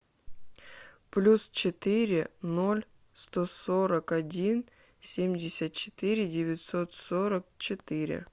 плюс четыре ноль сто сорок один семьдесят четыре девятьсот сорок четыре